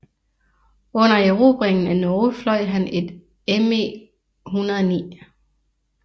Under erobringen af Norge fløj han et ME109